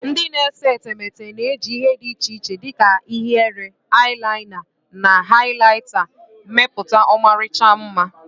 Ndị na-ese etemeete na-eji ihe dị iche iche dị ka ihiere, eyelina, and highlighta mepụta ọmarịcha mma.